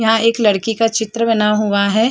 यहां एक लड़की का चित्र बना हुआ है।